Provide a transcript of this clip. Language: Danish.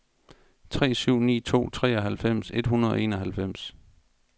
tre syv ni to treoghalvfems et hundrede og enoghalvfems